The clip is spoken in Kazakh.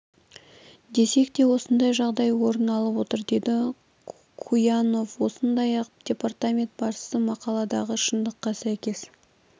десек те осындай жағдай орын алып отыр деді куянов сондай-ақ департамент басшысы мақаладағы шындыққа сәйкес